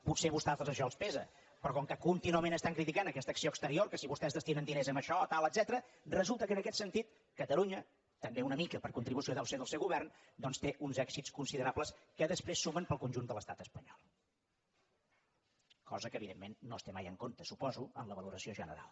potser a vostès això els pesa però com que contínuament estan criticant aquesta acció exterior que si vostès destinen diners a això tal etcètera resulta que en aquest sentit catalunya també una mica per contribució deu ser del seu govern doncs té uns èxits considerables que després sumen per al conjunt de l’estat espanyol cosa que evidentment no es té mai en compte suposo en la valoració general